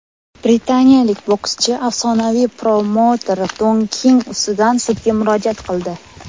Britaniyalik bokschi afsonaviy promouter Don King ustidan sudga murojaat qildi.